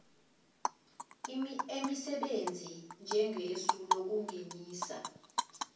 emisebenzi njengesu lokungenisa